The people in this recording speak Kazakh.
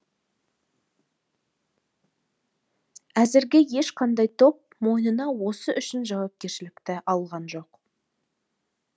әзірге ешқандай топ мойнына осы үшін жауапкершілік алған жоқ